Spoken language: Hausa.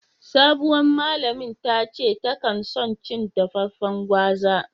Sabowan malamin tace ta kan son cin dafafen gwaza.